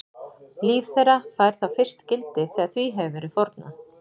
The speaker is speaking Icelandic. Líf þeirra fær þá fyrst gildi þegar því hefur verið fórnað.